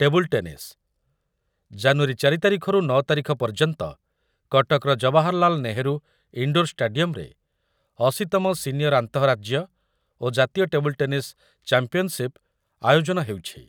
Table tennis , January ଚାରି ତାରିଖରୁ ନଅ ତାରିଖ ପର୍ଯ୍ୟନ୍ତ କଟକର ଜୱାହାରଲାଲ୍ ନେହେରୁ ଇଣ୍ଡୋର୍ ଷ୍ଟାଡି଼ୟମ୍‌ରେ ଅଶୀ ତମ ସିନିୟର୍ ଆନ୍ତଃରାଜ୍ୟ ଓ ଜାତୀୟ ଟେବୁଲ୍‌ ଟେନିସ୍ ଚାମ୍ପିୟନ୍‌ସିପ୍ ଆୟୋଜନ ହେଉଛି ।